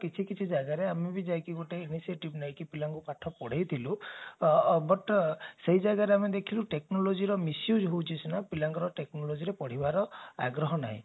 କିଛି ଜାଗାରେ ଆମେ ବି ଯାଇକି ଗୋଟେ initiative ନେଇକି ପିଲାଙ୍କୁ ପାଠ ପଢେଇଥିଲୁ but ସେଇ ଜାଗାରେ ଆମେ ଦେଖିଲୁ technologyର misuse ହଉଛି ସିନା ପିଲାଙ୍କର technology ରେ ପଢିବାର ଆଗ୍ରହ ନହିଁ